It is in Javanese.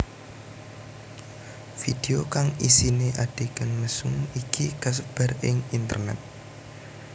Video kang isiné adhegan mesum iki kasebar ing internét